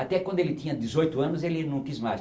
Até quando ele tinha dezoito anos, ele não quis mais.